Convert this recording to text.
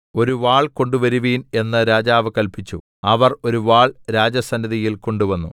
ഒരു വാൾ കൊണ്ടുവരുവിൻ എന്ന് രാജാവ് കല്പിച്ചു അവർ ഒരു വാൾ രാജസന്നിധിയിൽ കൊണ്ടുവന്നു